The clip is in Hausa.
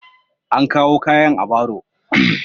An kawo kayan a baro.